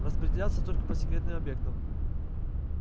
распределяется только по секретным объектам